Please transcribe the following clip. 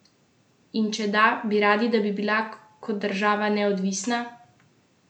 In če da, bi radi, da bi bila kot država neodvisna?